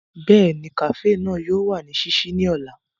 Bẹ́ẹ̀ni, kafee náà yóò wa ni ṣiṣii ni ọla.